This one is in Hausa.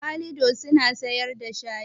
Kalido suna siyar da shayi